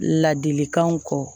Ladilikanw kɔ